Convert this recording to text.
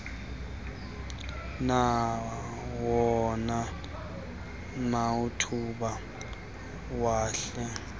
nawona mathuba mahle